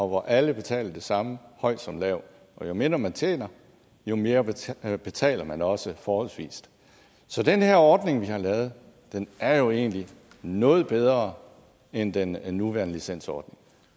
hvor alle betaler det samme høj som lav og jo mindre man tjener jo mere betaler betaler man også forholdsvis så den her ordning vi har lavet er jo egentlig noget bedre end den nuværende licensordning